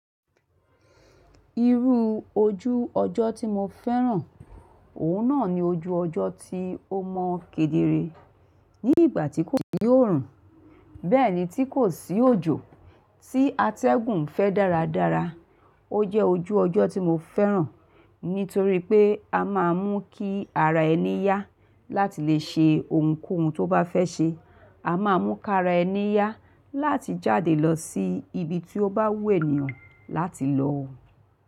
Irú ojú ọjọ́ tí mo fẹ́ràn, òun náà ni ojú ọjọ́ tí ó mọ́ kedere ní ìgbà tí kò sí òòrùn, bẹ́ẹ̀ ni tí kò sí òjò, tí atẹ́gùn fẹ́ dáradára. Ó jẹ́ ojú ọjọ́ tí mo fẹ́ràn nítorí pé a máa mú kí ara ẹni yá láti lè ṣe ohunkóhun tó bá fẹ́ ṣe. A máa mú kí ara ẹni yá láti jáde lọ sí ibi tí ó bá wù ènìyàn láti lọ.